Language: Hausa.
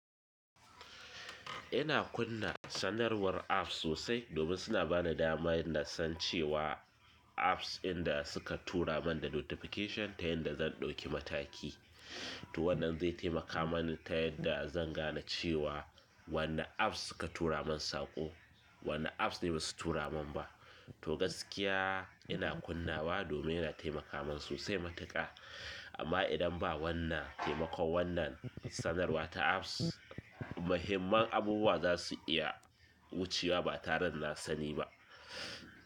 Ina kunna sanarwar apps sosai domin suna bani damar na san cewa apps din da suka tura min da notification da yanda zan ɗauki mataki. To wannan zai taimaka mani ta yadda zan gane cewa wanne apps suka tura min saƙo, wanne apps ne basu tura min ba. To gaskiya ina kunnawa domin yana taimaka min sosai matuƙa. Amma idan ba wannan taimakon wannan sanarwa ta apps, muhimman abubuwa za su iya wucewa ba tare da na sani ba.